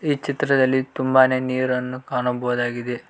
ಈ ಚಿತ್ರದಲ್ಲಿ ತುಂಬಾನೇ ನೀರನ್ನು ಕಾಣಬಹುದಾಗಿದೆ.